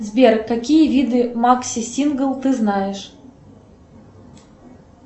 сбер какие виды макси сингл ты знаешь